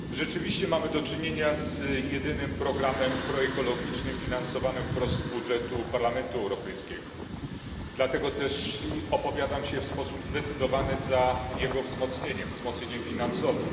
Pani Przewodnicząca! Rzeczywiście mamy do czynienia z jedynym programem proekologicznym finansowanym wprost z budżetu Parlamentu Europejskiego. Dlatego też opowiadam się w sposób zdecydowany za jego wzmocnieniem wzmocnieniem finansowym.